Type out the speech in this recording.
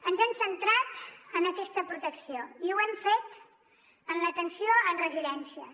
ens hem centrat en aquesta protecció i ho hem fet en l’atenció en residències